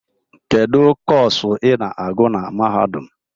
Kedu Kọsu ị na-agụ na mahadum?